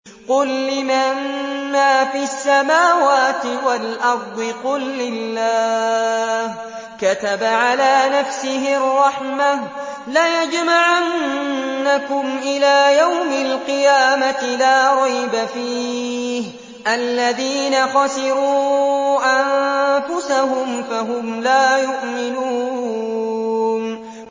قُل لِّمَن مَّا فِي السَّمَاوَاتِ وَالْأَرْضِ ۖ قُل لِّلَّهِ ۚ كَتَبَ عَلَىٰ نَفْسِهِ الرَّحْمَةَ ۚ لَيَجْمَعَنَّكُمْ إِلَىٰ يَوْمِ الْقِيَامَةِ لَا رَيْبَ فِيهِ ۚ الَّذِينَ خَسِرُوا أَنفُسَهُمْ فَهُمْ لَا يُؤْمِنُونَ